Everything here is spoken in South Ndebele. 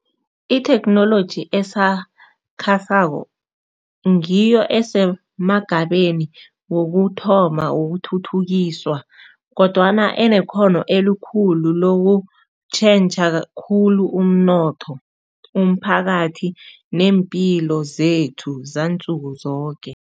Itheknoloji esakhasako ngiyo esemagabeni wokuthoma wokuthuthukiswa, kodwana enekghono elikhulu lokutjhentjha khulu umnotho, umphakathi neempilo zethu zansuku zoke.